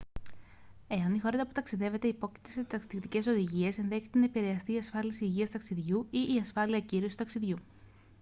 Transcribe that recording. εάν η χώρα που ταξιδεύετε υπόκειται σε ταξιδιωτικές οδηγίες ενδέχεται να επηρεαστεί η ασφάλιση υγείας ταξιδιού ή η ασφάλεια ακύρωσης ταξιδιού